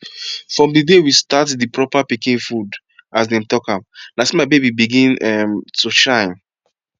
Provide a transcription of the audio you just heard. from di day we start di proper pikin food as dem talk am na so my baby begin um to shine